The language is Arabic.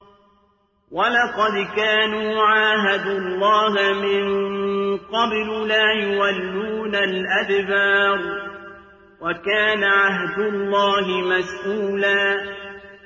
وَلَقَدْ كَانُوا عَاهَدُوا اللَّهَ مِن قَبْلُ لَا يُوَلُّونَ الْأَدْبَارَ ۚ وَكَانَ عَهْدُ اللَّهِ مَسْئُولًا